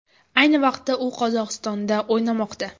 Ayni vaqtda u Qozog‘istonda o‘ynamoqda.